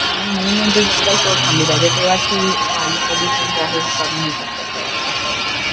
आणि मेन म्हणजे जंगलतोड थांबली पाहिजेल, तेव्हाच हे वायु प्रदूषण जे आहे हे कमी होऊ शकत अस वाटत.